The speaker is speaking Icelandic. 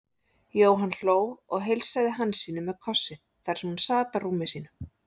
Jóhann hló og heilsaði Hansínu með kossi þar sem hún sat á rúmi sínu.